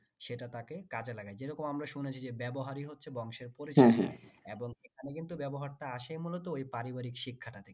সেটা তাকে কাজে লাগায় যেরকম আমরা শুনেছি যে ব্যবহারই হচ্ছে বংশের এবং সেখানে কিন্তু এবং এখানে কিন্তু ব্যবহারটা আসে মূলত ওই পারিবারিক শিক্ষাটা